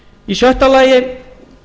í sjötta lagi